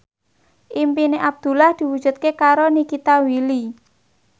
impine Abdullah diwujudke karo Nikita Willy